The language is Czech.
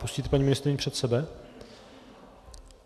Pustíte paní ministryni před sebe?